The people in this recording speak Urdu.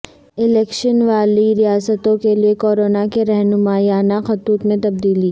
الیکشن والی ریاستوں کیلئے کورونا کے رہنمایانہ خطوط میں تبدیلی